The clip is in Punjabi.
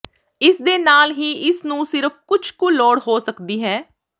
ਇਸ ਦੇ ਨਾਲ ਹੀ ਇਸ ਨੂੰ ਸਿਰਫ ਕੁਝ ਕੁ ਲੋੜ ਹੋ ਸਕਦੀ ਹੈ